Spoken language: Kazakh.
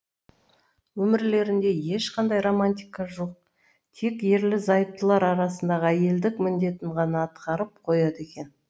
өмірлерінде ешқандай романтика жоқ тек ерлі зайыптылар арасындағы әйелдік міндетін ғана атқарып қояды екен